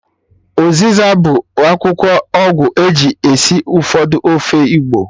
Ụzịza bụ akwụkwọ ọgwụ eji esi ụfọdụ ofe igbo